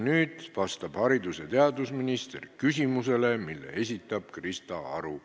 Nüüd vastab haridus- ja teadusminister küsimusele, mille esitab Krista Aru.